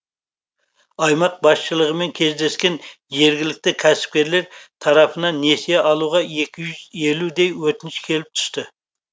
аймақ басшылығымен кездескен жергілікті кәсіпкерлер тарапынан несие алуға екі жүз елудей өтініш келіп түсті